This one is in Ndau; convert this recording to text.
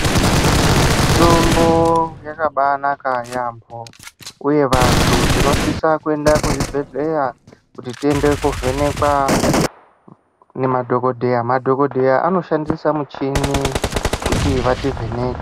Mitombo yakabaanaka yaamho uye vantu tinosisa kuenda kuzvibhendleya kuti tiende koovhenekwa ngemadhokodheya. Madhokodheya anoshandisa michini kuti vativheneke.